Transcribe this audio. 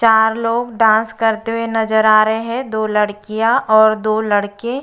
चार लोग डांस करते हुए नजर आ रहे हैं दो लड़कियां और दो लड़के --